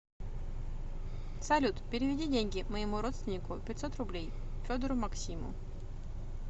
салют переведи деньги моему родственнику пятьсот рублей федору максиму